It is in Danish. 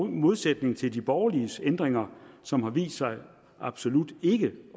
i modsætning til de borgerliges ændringer som har vist sig absolut ikke